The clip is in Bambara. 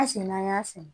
An sen n'an y'a sɛnɛ